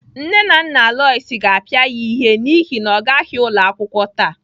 Nne na nna Lois ga-apịa ya ihe n'ihi na ọ gaghị ụlọ akwụkwọ taa.